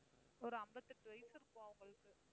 ஒரு அம்பத்தெட்டு வயசு இருக்கும் அவங்களுக்கு.